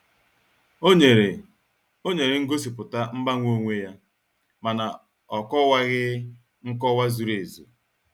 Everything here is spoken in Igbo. Ó nyere Ó nyere ngosipụta mgbanwe onwe ya, ma na ọ'kowaghi nkọwa zuru ezu.